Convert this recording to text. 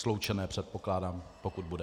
Sloučené, předpokládám, pokud bude.